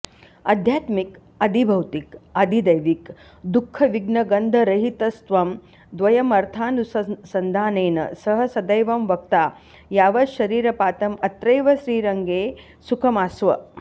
आध्यात्मिक आधिभौतिक आधिदैविक दुःखविघ्नगन्धरहितस्त्वं द्वयमर्थानुसन्धानेन सह सदैवं वक्ता यावच्छरीरपातं अत्रैव श्रीरङ्गे सुखमास्व